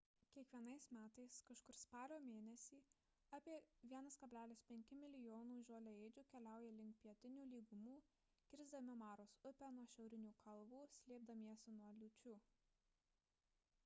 kiekvienais metais kažkur spalio mėnesį apie 1,5 mln žoliaėdžių keliauja link pietinių lygumų kisrdami maros upę nuo šiaurinių kalvų slėpdamiesi nuo liūčių